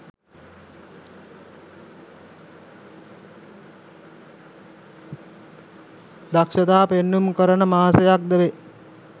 දක්‍ෂතා පෙන්නුම් කරන මාසයක් ද වේ.